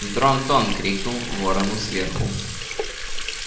дрон-тон крикнул ворону сверху